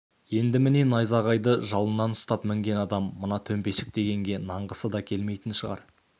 енді міне найзағайды жалынан ұстап мінген адам мына төмпешік дегенге нанғысы да келмейтін сияқты